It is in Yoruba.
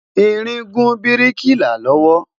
ìrìn gùn biriki là lowo